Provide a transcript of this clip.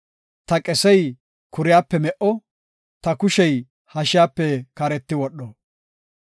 ta qesey kuriyape me77o; ta kushey hashiyape kareti wodho.